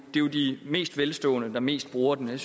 mest velstående der mest bruger den jeg